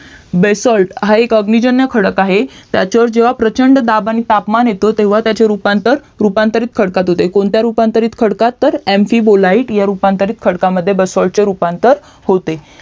BASALT हा एक अग्निजन्य खडक आहे त्याच्यावर जेव्हा प्रचंड दाब आणि तापमान येतो तेव्हा त्याचे रूपांतर रूपांतरित खडकात होते कोणत्या रूपांतरित खडकात तर MP BOLITE ह्या रूपांतरित खडकामध्ये BASALT खडकाचे रूपांतर होते